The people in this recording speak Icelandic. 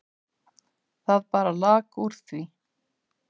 Það bara lak úr því.